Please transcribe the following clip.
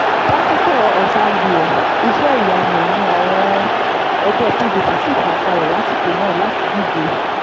pásítọ̀ ọ̀sàgìẹ̀ iṣẹ́-ìyamù ni àwọn ẹgbẹ́ pdp sì fà kalẹ̀ lásìkò náà láti díje